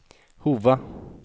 Hova